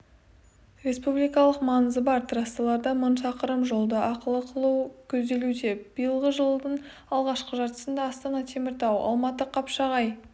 республикалық маңызы бар трассаларда мың шақырым жолды ақылы қылу көзделуде биылғы жылдың алғашқы жартысында астана-теміртау алматы-қапшағай